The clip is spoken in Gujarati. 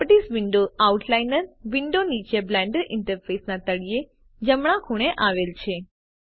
પ્રોપર્ટીઝ વિન્ડો આઉટલાઇનર વિન્ડો નીચે બ્લેન્ડર ઈન્ટરફેસના તળિયે જમણા ખૂણે આવેલ છે